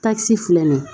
Takisi filɛ nin ye